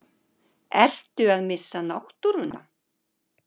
Ertu að missa náttúruna?